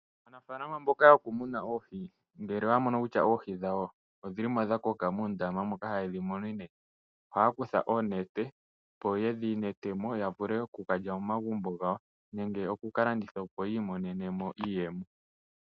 Aanafalama mboka yokumuna oohi ngele oya mono kutya oohi dhawo odhi li mo dhakoka moondama moka haye dhi munine, ohaya kutha oonete opo yedhi nete mo ya vule oku ka lya momagumbo gawo nenge okukalanditha, opo yi imonene mo iiyemo.